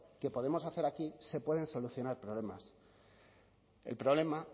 que podemos hacer aquí se pueden solucionar problemas el problema